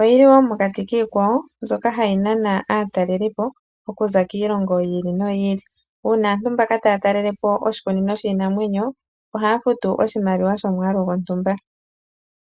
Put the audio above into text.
Oyi li wo mokati kiikwawo mbyoka hayi nana aatalelipo okuza kiilongo yi ili noyi ili. Uuna aantu mbaka taya talele po oshikunino shiinamwenyo ohaya futu oshimaliwa shomwaalu gontumba.